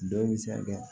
Dɔ bɛ se ka kɛ